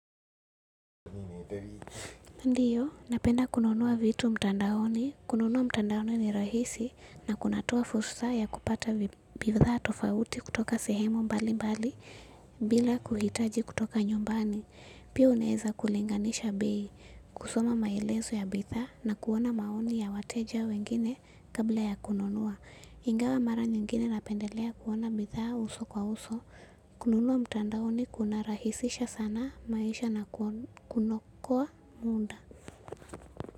Ndiyo, napenda kununua vitu mtandaoni. Kununua mtandaoni ni rahisi na kunatoa fursa ya kutoa bidhaa tofauti kutoka sehemu mbalimbali bila kuhitaji kutoka nyumbani. Pia unaweza kulinganisha bei, kusoma maelezo ya bidhaa na kuona maoni ya wateja wengine kabla ya kununua. Ingawa mara nyingine napendelea kuona bidhaa uso kwa uso. Kununua mtandaoni kunarahisisha sana maisha na kunaokoa muda.